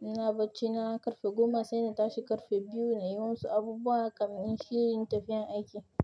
Ina bacci na ƙarfe goma sai na tashi ƙarfe biyu na yi musu abubuwa kamin inyi shirin tafiya aiki.